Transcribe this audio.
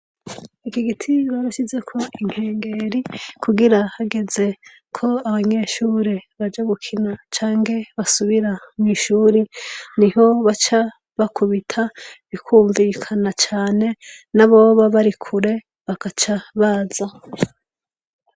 Iki giti baroshize ko inkengeri kugira hageze ko abanyeshuri baja gukina canke basubira mw'ishuri ni ho baca bakubita bikwumvikana cane n'aboba barikure bakaca baza.